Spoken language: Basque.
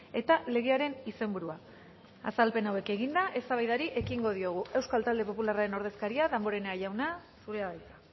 eta legearen izenburua azalpen hauek eginda eztabaidari ekingo diogu euskal talde popularraren ordezkaria damborenea jauna zurea da hitza